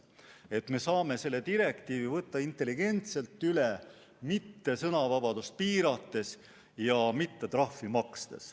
Me saame selle direktiivi võtta üle intelligentselt, mitte sõnavabadust piirates ja trahvi makstes.